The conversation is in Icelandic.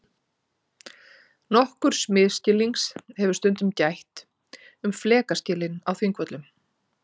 Nokkurs misskilnings hefur stundum gætt um flekaskilin á Þingvöllum.